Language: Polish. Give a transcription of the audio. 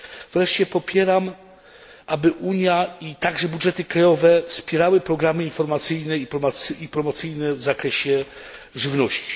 Wreszcie popieram, aby Unia, a także budżety krajowe wspierały programy informacyjne i promocyjne w zakresie żywności.